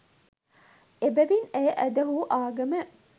එබැවින් ඇය ඇදහූ ආගම